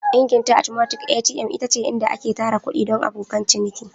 Ingin ta atomatik (ATM) ita ce inda ake tara kuɗi don abokan ciniki.